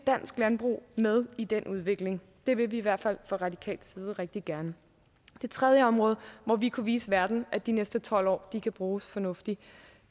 dansk landbrug med i den udvikling det vil vi i hvert fald fra radikal side rigtig gerne det tredje område hvor vi kunne vise verden at de næste tolv år kan bruges fornuftigt